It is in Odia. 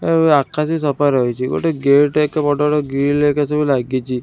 ଅ ଆକାଶ ବି ସଫା ରହିଛି ଗୋଟେ ଗେଟ୍ ହେକା ବଡ଼ର ଗ୍ରିଲ୍ ହେକା ସବୁ ଲାଗିଛି।